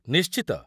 ନିଶ୍ଚିତ!